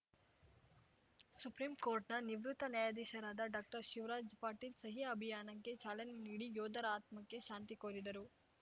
supreme ಕೋರ್ಟ್‌ನ ನಿವೃತ್ತ ನ್ಯಾಯಾಧೀಶರಾದ ಡಾಕ್ಟರ್ಶಿವರಾಜ ಪಾಟೀಲ್‌ ಸಹಿ ಅಭಿಯಾನಕ್ಕೆ ಚಾಲನೆ ನೀಡಿ ಯೋಧರ ಆತ್ಮಕ್ಕೆ ಶಾಂತಿ ಕೋರಿದರು